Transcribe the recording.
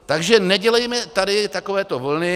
Takže nedělejme tady takovéto vlny.